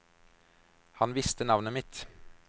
Han visste navnet mitt!